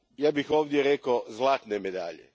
Ja bih ovdje rekao zlatne medalje.